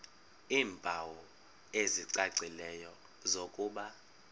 iimpawu ezicacileyo zokuba